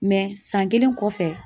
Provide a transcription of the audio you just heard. san kelen kɔfɛ